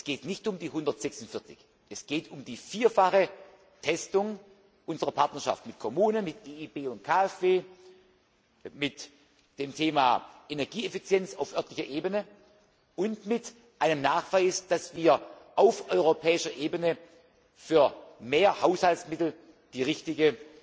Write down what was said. Es geht nicht um die 146 Millionen Euro, es geht um die vierfache Testung unserer Partnerschaft mit den Kommunen, mit EIB und KfW, mit dem Thema Energieeffizienz auf örtlicher Ebene und mit einem Nachweis, dass wir auf europäischer Ebene für mehr Haushaltsmittel die richtige